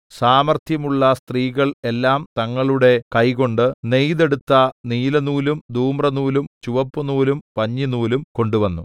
സാമർത്ഥ്യമുള്ള സ്ത്രീകൾ എല്ലാം തങ്ങളുടെ കൈകൊണ്ട് നെയ്തെടുത്ത നീലനൂലും ധൂമ്രനൂലും ചുവപ്പുനൂലും പഞ്ഞിനൂലും കൊണ്ടുവന്നു